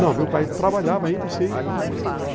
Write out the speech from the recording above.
Não, meu pai trabalhava ainda, sim.